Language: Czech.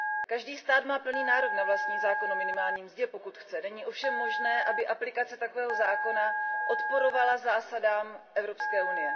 Každý stát má plný nárok na vlastní zákon o minimální mzdě, pokud chce, není ovšem možné, aby aplikace takového zákona odporovala zásadám EU.